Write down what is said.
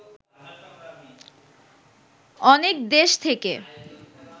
অনেক দেশ থেকে